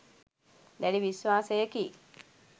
දැඩි විශ්වාසයකි.